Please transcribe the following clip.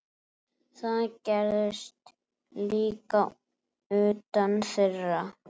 Það gerðist líka utan þeirra.